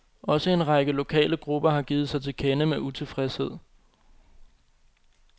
Også en række lokale grupper har givet sig til kende med utilfredshed.